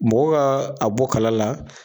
Mɔgɔw ka a bɔ kala la.